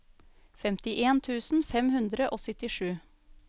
femtien tusen fem hundre og syttisju